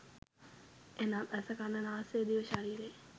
එනම් ඇස, කන, නාසය, දිව, ශරීරය,